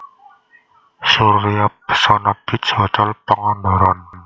Surya Pesona Beach Hotel Pangandaran